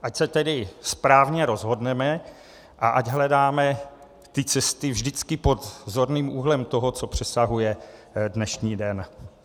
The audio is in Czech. Ať se tedy správně rozhodneme, a ať hledáme ty cesty vždycky pod zorným úhlem toho, co přesahuje dnešní den.